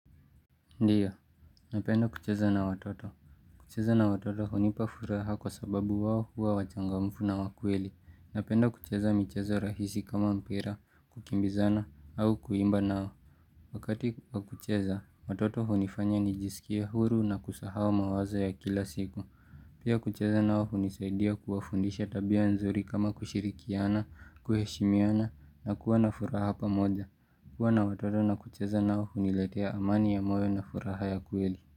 Ndiyo, napenda kucheza na watoto. Kucheza na watoto hunipa furaha kwa sababu wao huwa wachangamfu na wa kweli. Napenda kucheza micheza rahisi kama mpira, kukimbizana, au kuimba nao. Wakati wa kucheza, watoto hunifanya nijisikie huru na kusahau mawazo ya kila siku. Pia kucheza nao hunisaidia kuwafundisha tabia nzuri kama kushirikiana, kuheshimiana, na kuwa na furaha pamoja. Kuwa na watoto na kucheza nao huniletea amani ya moyo na furaha ya kweli.